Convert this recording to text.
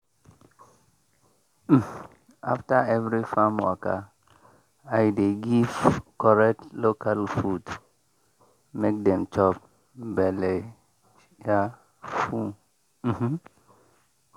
um after every farm waka i dey give correct local food make dem chop belle um full. um